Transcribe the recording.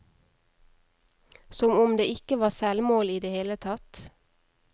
Som om det ikke var selvmål i det hele tatt.